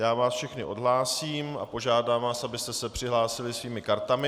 Já vás všechny odhlásím a požádám vás, abyste se přihlásili svými kartami.